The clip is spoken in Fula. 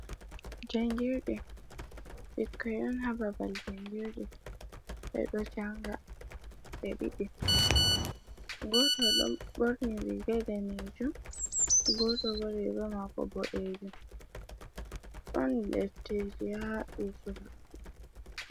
Jangirdi ɓikkoi on ha babal jangirde, ɓe ɗo janga ɓe ɗiɗi goto do ɓorni riga denejum, goto bo riga mako boɗejum ɗon defte ji bisuma.